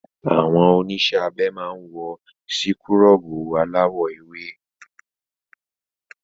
Àwọn oníṣẹ́ abẹ máa wọ síkúrọ̀bù aláwọ̀ ewé.